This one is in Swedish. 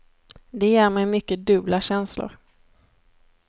Det ger mig mycket dubbla känslor.